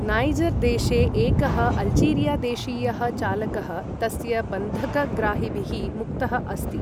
Niger देशे एकः Algeria देशीयः चालकः तस्य बन्धक ग्राहिभिः मुक्तः अस्ति।